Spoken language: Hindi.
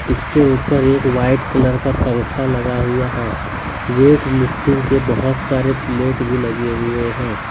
इसके ऊपर एक व्हाईट कलर का पंखा लगा हुआ हैं वेट लिफ्टिंग के बहुत सारे प्लेट भी लगे हुए हैं।